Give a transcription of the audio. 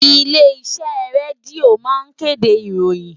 Ilé iṣẹ́ rédíò ma ń kéde ìròyìn